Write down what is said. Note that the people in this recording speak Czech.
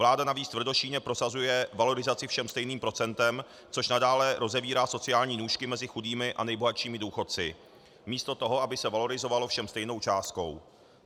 Vláda navíc tvrdošíjně prosazuje valorizaci všem stejným procentem, což nadále rozevírá sociální nůžky mezi chudými a nejbohatšími důchodci místo toho, aby se valorizovalo všem stejnou částkou.